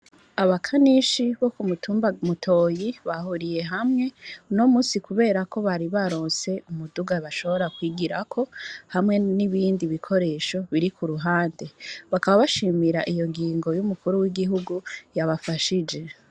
Abakanishi bo ku mutumba Mutoyi bahuriye hamwe uno musi kuberako bari baronse umuduga bashobora kwigirako hamwe n'ibindi bikoresho biri ku ruhande. Bakaba bashimira iyo ngingo y'umukuru w'igihugu yabafashije.